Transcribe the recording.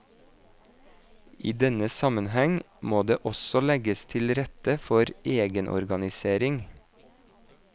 I denne sammenheng må det også legges til rette for egenorganisering.